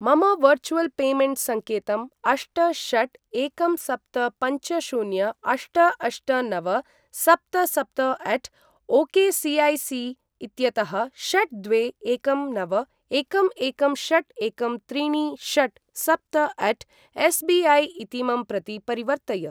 मम virtual payment संकेतं अष्ट षट् एकं सप्त पञ्च शून्य अष्ट अष्ट नव सप्त सप्तअट ओकेसिऐसि इत्यतः षट् द्वे एकं नव एकं एकं षट् एकं त्रीणि षट् सप्तअट एसबिऐ इतीमं प्रति परिवर्तय।